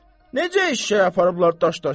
Necə eşşəyi aparıblar daş daşısınlar?